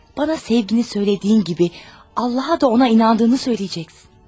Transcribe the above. Mənə sevgi söylədiyin kimi Allaha da ona inandığını deyəcəksən.